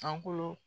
Sankolo